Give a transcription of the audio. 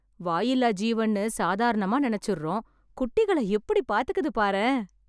வாயில்லா ஜீவன்னு சாதாரணமா நினச்சுரோம், குட்டிகள எப்படி பாத்துக்குது பாரேன்.